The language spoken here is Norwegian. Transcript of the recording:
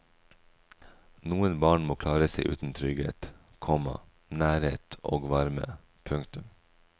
Noen barn må klare seg uten trygghet, komma nærhet og varme. punktum